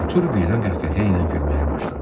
Artur birdən qəhqəhə ilə gülməyə başladı.